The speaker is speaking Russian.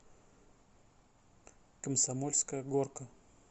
комсомольская горка